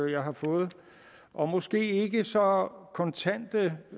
jeg har fået og måske ikke så kontante